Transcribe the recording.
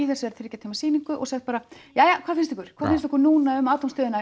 þessari þriggja tíma sýningu og segja bara jæja hvað finnst ykkur hvað finnst ykkur núna um